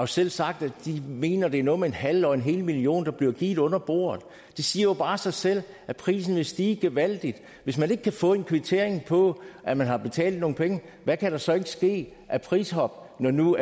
selv sagt at de mener at det er noget med en halv og en hel million der bliver givet under bordet det siger bare sig selv at prisen vil stige gevaldigt hvis man ikke kan få en kvittering på at man har betalt nogle penge hvad kan der så ikke ske af prishop når nu